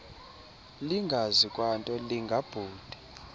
lingazi kwanto lingabhuda